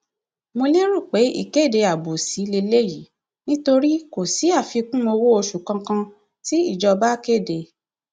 mo lérò pé ìkéde abòṣì lélẹyìí nítorí kò sí àfikún owóoṣù kankan tí ìjọba tí ìjọba kéde